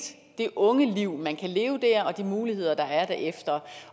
det ungeliv man kan leve der og de muligheder der er derefter